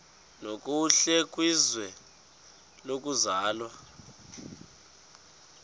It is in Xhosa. nokuhle kwizwe lokuzalwa